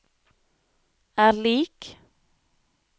er lik